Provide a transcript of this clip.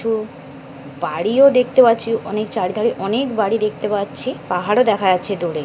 কিছু বাড়িও দেখতে পাচ্ছি অনেক তাড়াতাড়ি অনেক বাড়ি দেখতে পাচ্ছি পাহাড়ে দেখা যাচ্ছে দূরে।